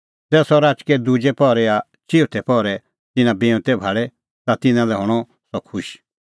ज़ै सह राचकै दुजै पहरै या चिऊथै पहरै तिन्नां बिऊंतै भाल़े ता तिन्नां लै हणअ सह खुश